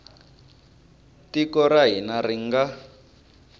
tiko ra hina ri nga